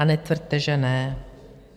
A netvrďte, že ne.